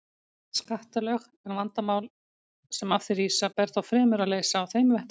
skattalög, en vandamál sem af því rísa ber þá fremur að leysa á þeim vettvangi.